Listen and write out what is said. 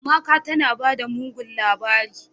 "Amaka tanabada mugun labari."